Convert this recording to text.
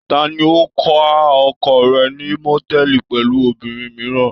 Ta ni ó ká oko rẹ̀ ní mòtẹ́ẹ́lì pẹ̀lú obìnrin mìíràn?